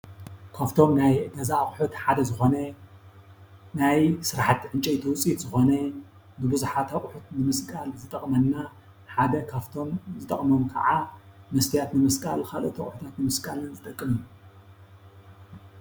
ካፍቶም ናይ ገዛ ኣቁሑት ሐደ ዝኾነ ናይ ስራሓቲ ዕንጨይቲ ውፅኢት ዝኾነ ንብዛሓት ኣቁሑት ንምስቃል ዝጠቕመና ሓደ ካፍቶም ዝጠቅሞም ኸዓ መስትያት ንምስቃል ኻልኦት ኣቁሑት ንምስቃል ዝጠቅም እዩ።